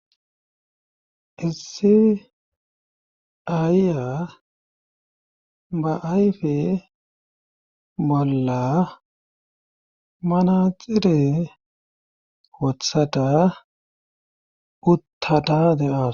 Issi ayya baayfe bolla manaxire wothada uttata deaws.